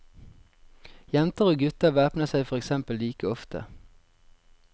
Jenter og gutter væpner seg for eksempel like ofte.